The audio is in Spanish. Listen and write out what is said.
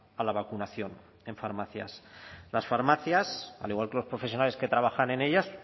a la vacunación en farmacias las farmacias al igual que los profesionales que trabajan en ellas